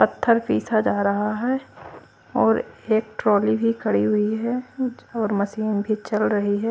पत्थर पीसा जा रहा हैं और एक ट्रोली भी खड़ी हुई है और मशीन भी चल रही हैं।